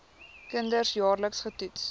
kinders jaarliks getoets